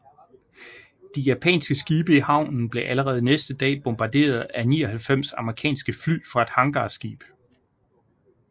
De japanske skibe i havnen blev allerede næste dag bombarderet af 99 amerikanske fly fra et hangarskib